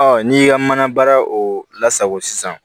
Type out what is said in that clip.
n'i ka mana baara o la sago sisan